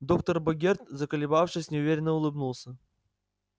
доктор богерт заколебавшись неуверенно улыбнулся